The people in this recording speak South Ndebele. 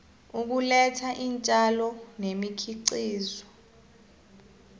ukuletha iintjalo nemikhiqizo